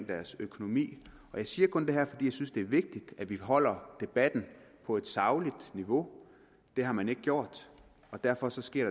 deres økonomi jeg siger kun det her fordi jeg synes det er vigtigt at vi holder debatten på et sagligt niveau det har man ikke gjort og derfor sker